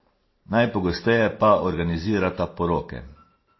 Najpogosteje pa organizirata poroke.